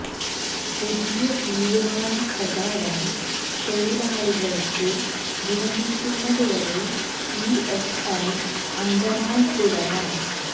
പുതിയ തീരുമാന പ്രകാരം തൊഴിലാളികള്ക്ക് വിരമിക്കുന്നതു വരെ ഇഎസ്ഐ അംഗമായി തുടരാം